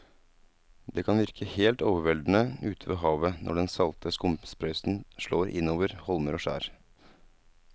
Det kan virke helt overveldende ute ved havet når den salte skumsprøyten slår innover holmer og skjær.